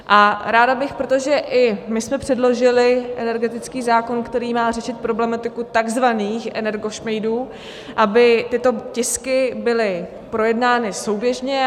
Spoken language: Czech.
Ráda bych, protože i my jsme předložili energetický zákon, který má řešit problematiku takzvaných energošmejdů, aby tyto tisky byly projednány souběžně.